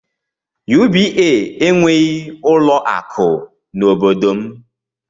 UBA enweghị ụlọ akụ n'obodo m.